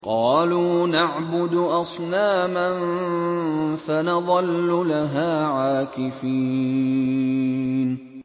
قَالُوا نَعْبُدُ أَصْنَامًا فَنَظَلُّ لَهَا عَاكِفِينَ